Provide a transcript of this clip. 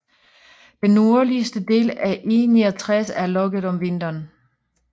Den nordligste del af E69 er lukket om vinteren